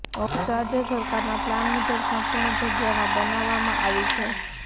office રાજય સરકારના plan મુજબ સંપુર્ણ જગ્યામાં બનાવવામાં આવી છે